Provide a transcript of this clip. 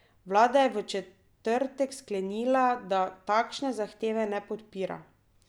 Vlada je v četrtek sklenila, da takšne zahteve ne podpira.